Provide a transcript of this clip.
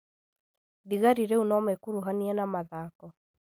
Thigari rĩu nomekuruhanie na mathako